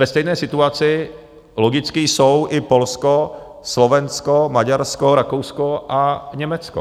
Ve stejné situaci logicky jsou i Polsko, Slovensko, Maďarsko, Rakousko a Německo.